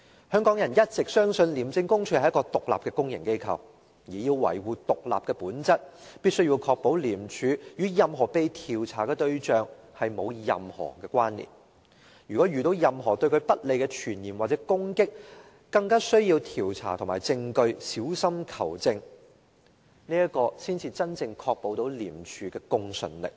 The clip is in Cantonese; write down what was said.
香港人一直相信廉署是獨立的公營機構，而要維護獨立的本質，必須確保廉署與任何被調查的對象沒有任何關連，如果遇到任何對廉署不利的傳言或攻擊，更需要調查和證據，小心求證，這才能真正確保廉署的公信力。